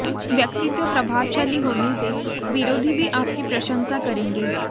व्यक्तित्व प्रभावशाली होने से विरोधी भी आपकी प्रशंसा करेंगे